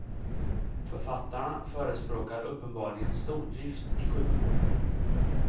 Författarna förespråkar uppenbarligen stordrift i sjukvården.